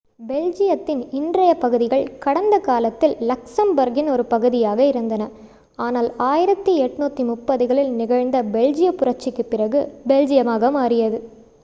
பெல்ஜியத்தின் இன்றைய பகுதிகள் கடந்த காலத்தில் லக்சம்போர்க்கின் ஒரு பகுதியாக இருந்தன ஆனால் 1830களில் நிகழ்ந்த பெல்ஜிய புரட்சிக்குப் பிறகு பெல்ஜியமாக மாறியது